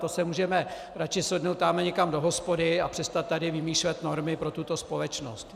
To si můžeme radši sednout tamhle někam do hospody a přestat tady vymýšlet normy pro tuto společnost.